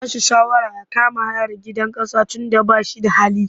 Zan ba shi shawara ya kama hayar gidan ƙasa tunda ba shi da hali.